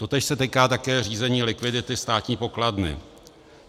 Totéž se týká také řízení likvidity státní pokladny.